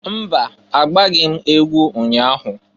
Mba! Agbaghị m egwu ụnya ahụ.